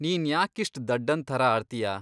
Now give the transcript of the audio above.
ನೀನ್ ಯಾಕಿಷ್ಟ್ ದಡ್ಡನ್ ಥರ ಆಡ್ತೀಯ?